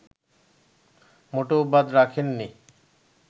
মোটেও বাদ রাখেননি